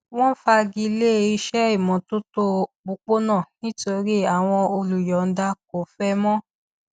wọn fagilé iṣẹ ìmọtótó òpópónà nítorí àwọn olùyọọda kò fẹ mọ